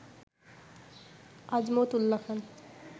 Azmat উল্লা খান